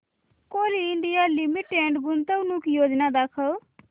Coal India Limited गुंतवणूक योजना दाखव